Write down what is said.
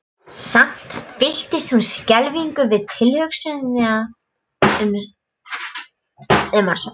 Samt fylltist hún skelfingu við tilhugsunina um að sofna.